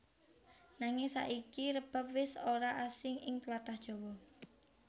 Nanging saiki rebab wis ora asing ing tlatah Jawa